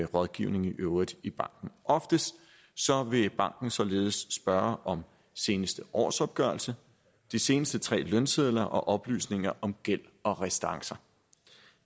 rådgivning i øvrigt i banken oftest vil banken således spørge om seneste årsopgørelse de seneste tre lønsedler og oplysninger om gæld og restancer